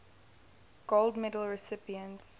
gold medal recipients